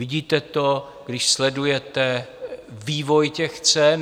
Vidíte to, když sledujete vývoj těch cen.